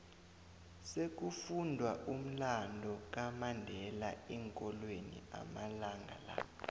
sekufundwa umlando kamandela eenkolweni amalanga la